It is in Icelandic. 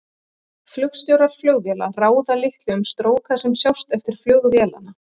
flugstjórar flugvéla ráða litlu um stróka sem sjást eftir flug vélanna